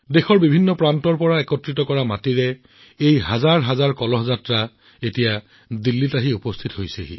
দেশৰ চুককোণৰ পৰা সংগ্ৰহ কৰা এই মাটি এই হাজাৰ হাজাৰ অমৃত কলহ যাত্ৰা এতিয়া দিল্লীত উপস্থিত হৈছে